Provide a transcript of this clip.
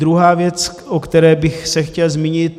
Druhá věc, o které bych se chtěl zmínit.